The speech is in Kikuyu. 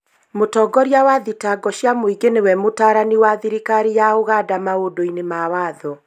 Mũtongoria wa thitango cia mũingĩ nĩwe mũtaarani wa thirikari ya Uganda maũndũ-inĩ ma watho